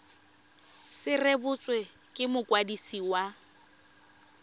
se rebotswe ke mokwadisi wa